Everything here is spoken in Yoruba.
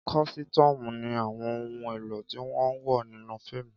Kọ̀sìtuumu ni àwọn ohun èlò tí wọ́n ń wọ̀ nínú fíìmù